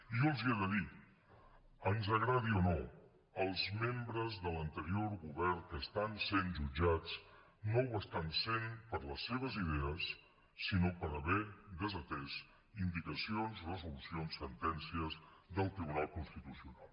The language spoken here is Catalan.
i jo els hi he de dir ens agradi o no els membres de l’anterior govern que estan sent jutjats no ho estan sent per les seves idees sinó per haver desatès indicacions resolucions sentències del tribunal constitucional